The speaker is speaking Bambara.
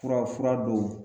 Fura fura don